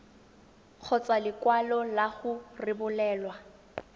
kgotsa lekwalo la go rebolelwa